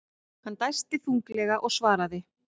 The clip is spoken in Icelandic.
Hann dæsti þunglega og svaraði.